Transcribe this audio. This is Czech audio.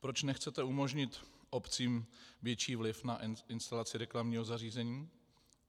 Proč nechcete umožnit obcím větší vliv na instalaci reklamního zařízení?